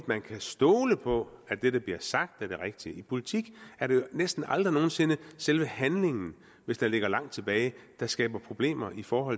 man kan stole på at det der bliver sagt er rigtigt i politik er det jo næsten aldrig selve handlingen hvis den ligger langt tilbage der skaber problemer for